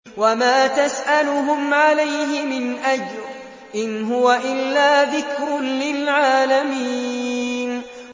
وَمَا تَسْأَلُهُمْ عَلَيْهِ مِنْ أَجْرٍ ۚ إِنْ هُوَ إِلَّا ذِكْرٌ لِّلْعَالَمِينَ